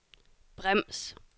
brems